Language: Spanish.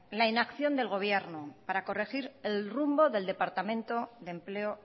la inacción del gobierno para corregir el rumbo del departamento de empleo